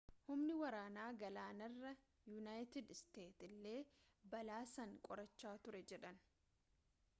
humni waraana galaanarraa yuunaayitid isteetsi illee balaa san qorachaa turre jedhan